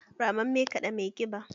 Rammame kaɗa mai kiba